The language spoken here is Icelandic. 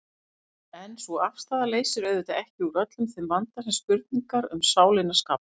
En sú afstaða leysir auðvitað ekki úr öllum þeim vanda sem spurningar um sálina skapa.